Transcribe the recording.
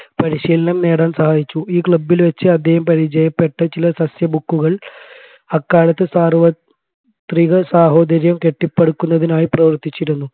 പരിശീലനം നേടാൻ സഹാഹിച്ചു ഈ club ൽ വച്ച് അദ്ദേഹം പരിചയപ്പെട്ട ചില സസ്യ book ക്കുകൾ അക്കാലത്ത് സാർവത്രിക സാഹോദര്യം കെട്ടിപ്പടുക്കുന്നതിനായി പ്രവർത്തിച്ചിരുന്നു